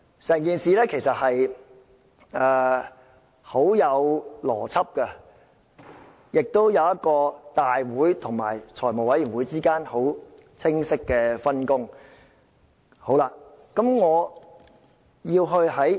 因此，整件事很有邏輯，亦顯示出大會與財務委員會之間的清晰分工。